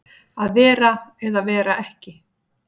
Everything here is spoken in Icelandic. Að vera eða vera ekki